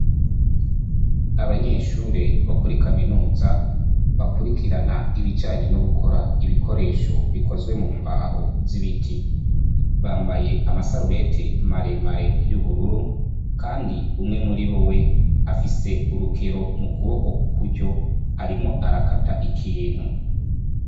Abanyeshure bo muri kaminuza bakwirikirana ibijanye no gukora ibikoresho bikozwe mu mbaho z' ibiti. Bambaye amasarubeti maremare y' ubururu kandi umwe muriyo afise urukero mu kuboko kw' ukuryo, arimwo arakata ikintu.